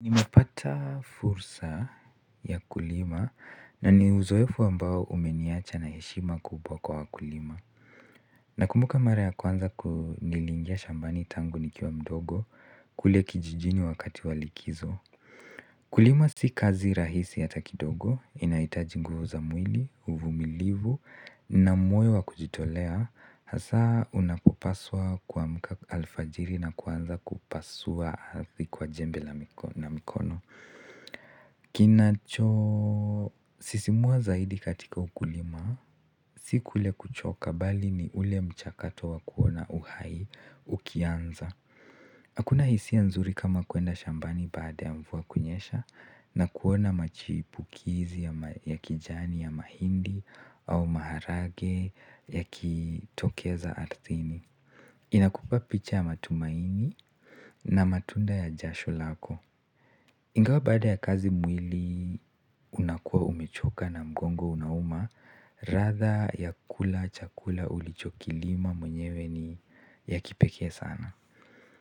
Nimepata fursa ya kulima na ni uzoefu ambao umeniacha na heshima kubwa kwa wakulima nakumbuka mara ya kwanza, niliingia shambani tangu nikiwa mdogo kule kijijini wakati wa likizo kulima si kazi rahisi hata kidogo, inahitaji nguvu za mwili, uvumilivu, na moyo wa kujitolea hasaa unapopaswa kuamka alfajiri na kuanza kupasua ardhi kwa jembe na mikono. Kinachosisimua zaidi katika ukulima si kule kuchoka bali ni ule mchakato wa kuona uhai ukianza hakuna hisia nzuri kama kwenda shambani baada ya mvua kunyesha na kuona machipukizi ya kijani ya mahindi au maharage yakitokeza ardhini inakupa picha ya matumaini na matunda ya jasho lako ingawa baada ya kazi mwili unakuwa umechoka na mgongo unauma ladha ya kula chakula ulichokilima mwenyewe ni ya kipekee sana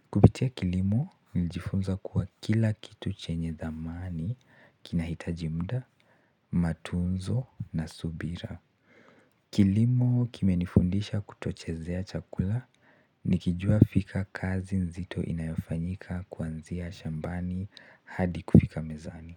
kupitia kilimo nilijifunza kuwa kila kitu chenye dhamani kinahitaji muda matunzo na subira kilimo kimenifundisha kutochezea chakula, nikijua fika kazi nzito inayofanyika kuanzia shambani hadi kufika mezani.